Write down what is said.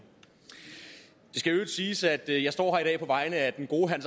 siges at jeg i dag står her på vegne af den gode herre